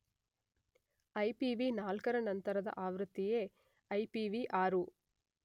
ಐಪಿವಿ4ರ ನಂತರದ ಆವೃತ್ತಿಯೇ ಐಪಿವಿ6.